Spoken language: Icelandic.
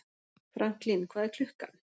Franklín, hvað er klukkan?